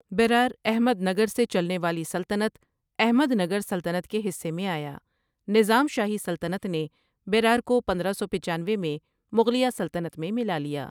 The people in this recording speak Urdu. بیرار احمد نگر سے چلنے والی سلطنت احمد نگر سلطنت کے حصہ میں آیا نظام شاہی سلطنت نے بیرار کو پندرہ سوپچانوے میں مغلیہ سلطنت میں ملا دیا ۔